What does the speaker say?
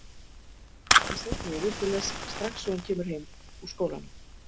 Hann sest niður til þess strax og hann kemur heim úr skólanum.